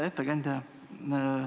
Hea ettekandja!